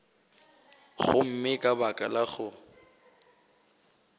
gomme ka baka la go